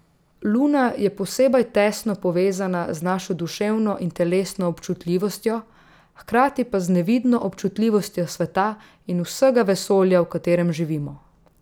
Luna je posebej tesno povezana z našo duševno in telesno občutljivostjo, hkrati pa z nevidno občutljivostjo sveta in vsega vesolja, v katerem živimo.